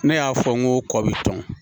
Ne y'a fɔ n ko kɔ bi tɔn